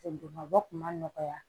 bɔ kun ma nɔgɔ ya